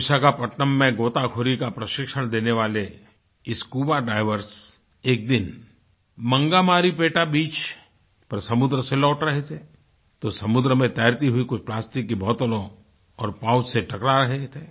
विशाखापत्तनम में गोताखोरी का प्रशिक्षण देने वाले स्कूबा डाइवर्स एक दिनmangamaripeta बीच पर समुद्र से लौट रहे थे तो समुद्र में तैरती हुई कुछ प्लास्टिक की बोतलों और पाउच से टकरा रहे थे